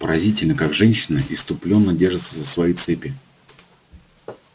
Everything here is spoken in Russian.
поразительно как женщины исступлённо держатся за свои цепи